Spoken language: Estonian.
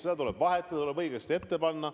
Seda tuleb vahetada, see tuleb õigesti ette panna.